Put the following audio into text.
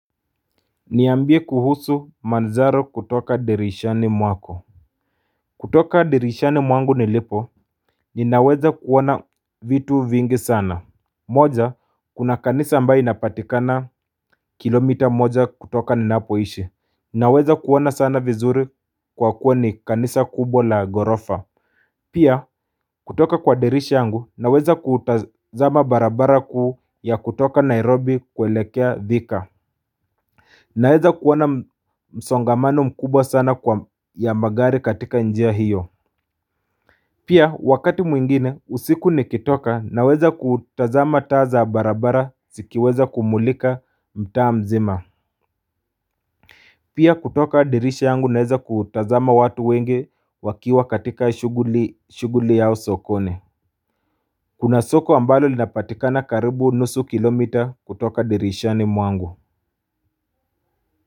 Niambie kuhusu manzaro kutoka dirishani mwako kutoka dirishani mwangu nilipo ninaweza kuoana vitu vingi sana moja kuna kanisa ambayo inapatikana kilomita moja kutoka ninapoishi Ninaweza kuona sana vizuri kwa kuwa ni kanisa kubwa la ghorofa Pia kutoka kwa dirisha yangu naweza kuutazama barabara kuu ya kutoka Nairobi kuelekea Thika Naweza kuona msongamano mkubwa sana kwa ya magari katika njia hiyo Pia wakati mwingine usiku nikitoka naweza kutazama taa za barabara zikiweza kumulika mtaa mzima Pia kutoka dirisha yangu naweza kutazama watu wengi wakiwa katika shuguli yao sokoni Kuna soko ambalo linapatikana karibu nusu kilomita kutoka dirishani mwangu.